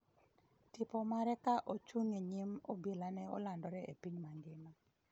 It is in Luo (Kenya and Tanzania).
Tipo mare ka ochung’ e nyim obila ne olandore e piny mangima.